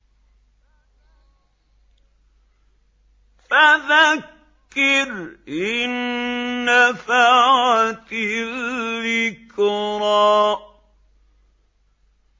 فَذَكِّرْ إِن نَّفَعَتِ الذِّكْرَىٰ